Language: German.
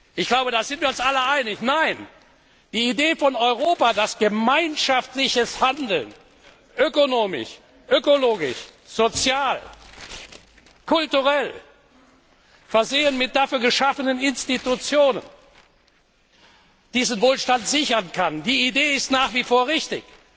Ich glaube, da sind wir uns alle einig Nein, die Idee, dass Europa mit gemeinschaftlichem Handeln ökonomisch, ökologisch, sozial, kulturell, versehen mit dafür geschaffenen Institutionen, diesen Wohlstand sichern kann, ist nach wie vor richtig.